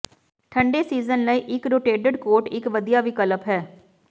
ਠੰਡੇ ਸੀਜ਼ਨ ਲਈ ਇੱਕ ਰੋਟੇਟਡ ਕੋਟ ਇੱਕ ਵਧੀਆ ਵਿਕਲਪ ਹੈ